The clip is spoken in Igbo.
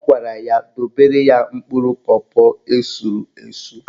Ọ gwara ya dobere ya mkpụrụ pọpọ esuru esu.